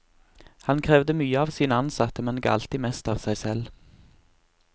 Han krevde mye av sine ansatte, men ga alltid mest av seg selv.